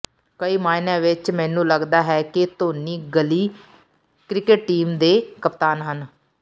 ਕਈ ਮਾਅਨਿਆਂ ਵਿਚ ਮੈਨੂੰ ਲਗਦਾ ਹੈ ਕਿ ਧੋਨੀ ਗਲੀ ਕ੍ਰਿਕਟ ਟੀਮ ਦੇ ਕਪਤਾਨ ਹਨ